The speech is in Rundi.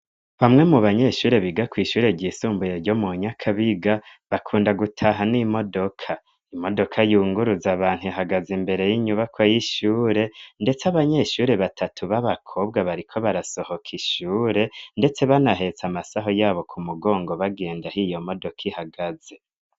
Bamwe mu banyeshure biga kwishure ryisumbuye ryo mu Nyakabiga bakunda gutaha n'imodoka, imodoka yunguruza abantu ihagaze imbere yinyubako yishure ndetse abanyeshure batatu b'abakobwa bariko barasohoka ishure ndetse banahetse amasaho yabo ku mugongo bagenda aho iyo modoka ihagaze.